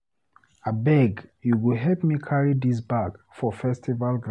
Abeg you go help me carry dis bag for festival ground.